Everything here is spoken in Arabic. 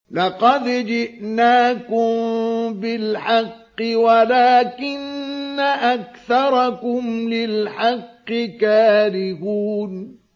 لَقَدْ جِئْنَاكُم بِالْحَقِّ وَلَٰكِنَّ أَكْثَرَكُمْ لِلْحَقِّ كَارِهُونَ